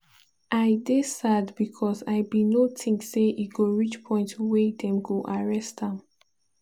"i dey sad becos i bin no tink say e go reach point wia dem go arrest am.